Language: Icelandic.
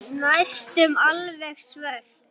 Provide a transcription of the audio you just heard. Næstum alveg svört.